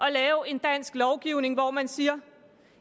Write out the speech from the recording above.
at lave en dansk lovgivning hvor man siger